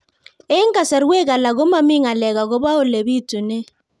Eng' kasarwek alak ko mami ng'alek akopo ole pitunee